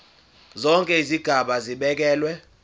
zonke izigaba zibekelwe